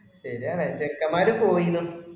ശരിയാണ് ചെക്കമ്മാര് പോയിന്നു